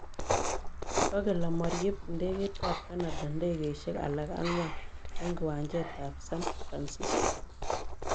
Kokel amaryeb ndegeit ab Canada ndegeisiek alak ang'wan en kiwanjet ab San Francisco